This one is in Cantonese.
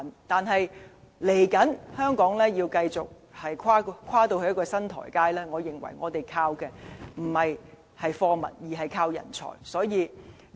但是，接下來，香港要跨到新台階，我們要依靠的，不應是貨物，而是人才。